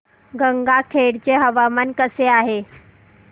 गंगाखेड चे हवामान कसे आहे